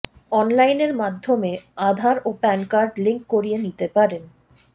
অনলাইনের মাধ্যমে আধার ও প্যান কার্ড লিঙ্ক করিয়ে নিতে পারেন